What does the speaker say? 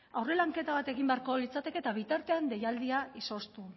aurre lanketa bat egin behar litzateke eta bitartean deialdia izoztu